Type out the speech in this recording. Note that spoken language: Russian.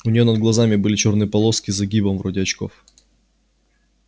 у неё над глазами были чёрные полоски с загибом вроде очков